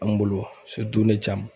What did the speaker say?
An bolo ne Camu.